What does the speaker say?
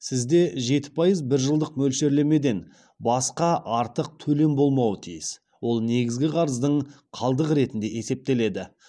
сізде жеті пайыз бір жылдық мөлшерлемеден басқа артық төлем болмауы тиіс ол негізгі қарыздың қалдығы ретінде есептеледі